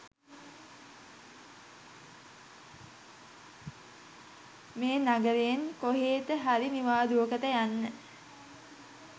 මේ නගරයෙන් කොහෙට හරි නිවාඩුවකට යන්න.